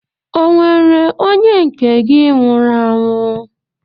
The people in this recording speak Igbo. Ọ nwere onye nke gị nwụrụ anwụ?